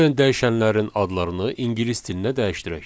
Gəlin dəyişənlərin adlarını ingilis dilinə dəyişdirək.